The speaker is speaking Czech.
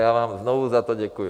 Já vám znovu za to děkuji.